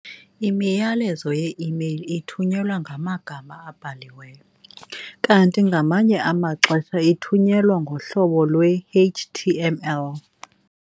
imiyalezo ye-email ithunyelwa ngamagama abhaliweyo, kanti ke ngamanye amaxesha ithunyelwa ngohlobo lwe-HTML.